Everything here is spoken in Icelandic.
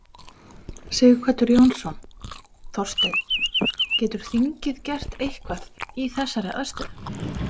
Sighvatur Jónsson: Þorsteinn, getur þingið gert eitthvað í þessari aðstöðu?